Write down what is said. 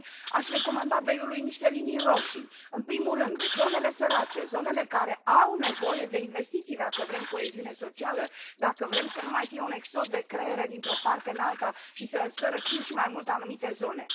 Și apoi, aș recomanda BEI ului niște linii roșii în primul rând, zonele sărace, zonele care au nevoie de investiții dacă vrem coeziune socială, dacă vrem să nu mai fie un exod de creiere dintr o parte în alta și să sărăcim și mai mult anumite zone.